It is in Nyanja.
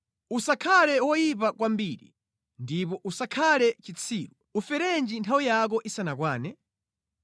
Usakhale woyipa kwambiri, ndipo usakhale chitsiru, uferenji nthawi yako isanakwane?